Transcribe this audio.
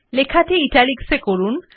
লেখাটি Italics এ করুন